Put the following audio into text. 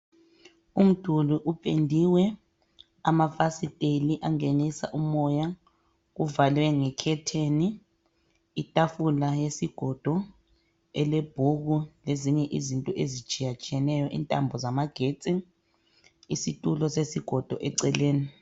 Umduli upendiwe, amafasiteli angenisa umoya, kuvalwe ngekhetheni. Itafula yesigodo, elebhuku, lezinye izinto ezitshiyatshiyeneyo, intambo zamagetsi, isitulo sesigodo eceleni.